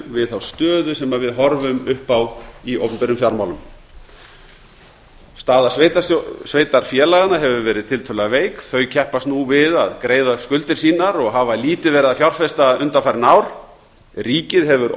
við þá stöðu sem við horfum upp á í opinberum fjármálum staða sveitarfélaganna hefur verið tiltölulega veik þau keppast nú við að greiða skuldir sínar og hafa lítið verið að fjárfesta undanfarin ár ríkið hefur